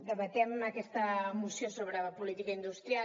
debatem aquesta moció sobre política industrial